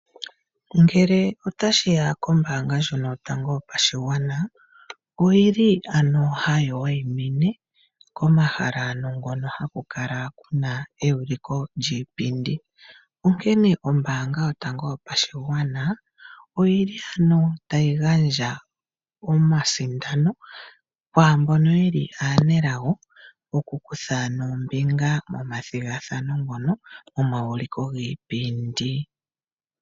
Ngele otashiya kombaanga ndjono yotango yopadhigwana oyili hayi wayimine komahala ngono halu kala kuna ewuliko lyiipindi, onkene ombaanga yotango yopashigwana oyili ano tayi gandja omasindano kwaambono yeli aanelago oku kutha ano ombinga momathigathano ngono gomawuliko giipindi.